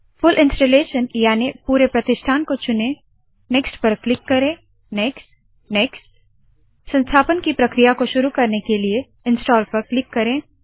फूल installation याने full प्रतिष्ठान को चुने नेक्स्ट क्लिक करे नेक्स्ट नेक्स्ट संस्थापन की प्रक्रिया को शुरू करने के लिए इंस्टाल पर क्लिक करे